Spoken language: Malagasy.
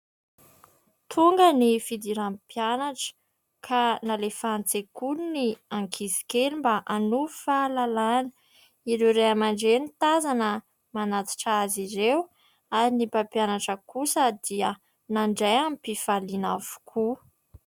Tonga ny fidiran'ny mpianatra ka nalefa an-tsekoly ny ankizy kely mba hanovo fahalalana. Ireo Ray aman-dReny tazana manatitra azy ireo ary ny mpampianatra kosa dia nandray am-pifaliana avokoa.